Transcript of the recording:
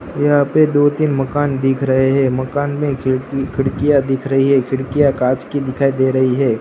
यहां पे दो तीन मकान दिख रहे हैं मकान में खिड़की खिड़कियां दिख रही है खिड़कियां कांच की दिखाई दे रही है।